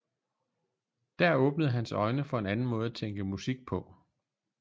Der åbnede hans øjne for en anden måde at tænke musik på